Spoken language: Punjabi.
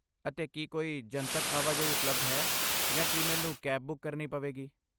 ਅਤੇ ਕੀ ਕੋਈ ਜਨਤਕ ਆਵਾਜਾਈ ਉਪਲਬਧ ਹੈ ਜਾਂ ਕੀ ਮੈਨੂੰ ਕੈਬ ਬੁੱਕ ਕਰਨੀ ਪਵੇਗੀ?